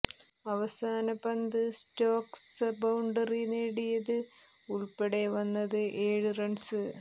അവസാന പന്ത് Stokes boundary നേടിയത് ഉൾപ്പടെ വന്നത് ഏഴ് റൺസ്